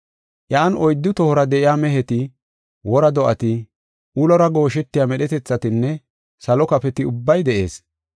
Iyan oyddu tohora de7iya meheti, wora do7ati, ulora gooshetiya medhetethatinne salo kafoti ubbay de7ees.